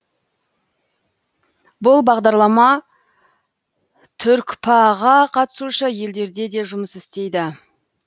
бұл бағдарлама түркпа ға қатысушы елдерде де жұмыс істейді